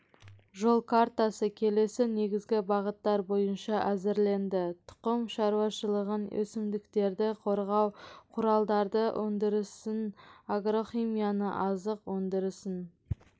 жол картасы келесі негізгі бағыттар бойынша әзірленді тұқым шаруашылығын өсімдіктерді қорғау құралдары өндірісін агрохимияны азық өндірісін